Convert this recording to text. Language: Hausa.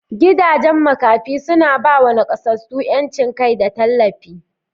Gidajen Makafi suna ba wa nakasassu 'yancin kai da tallafi.